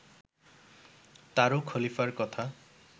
তারু খলিফার কথা